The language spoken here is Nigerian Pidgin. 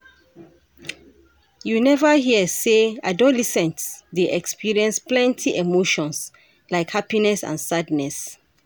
You neva hear sey adolescents dey experience plenty emotions, like happiness and sadness.